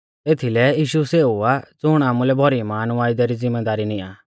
एथीलै यीशु सेऊ आ ज़ुण आमुलै भौरी महान वायदै री ज़िम्मेदारी नियां आ